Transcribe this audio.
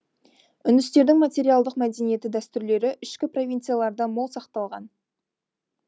үндістердің материалдық мәдениеті дәстүрлері ішкі провинцияларда мол сақталған